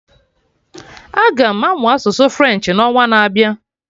Aga m amụ asụsụ French n'ọnwa na-abịa